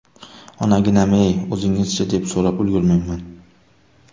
Onaginam-ay, o‘zingiz-chi, deb so‘rab ulgurmayman.